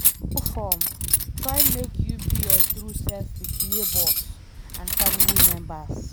No form, try make you be your true self with neigbours and family members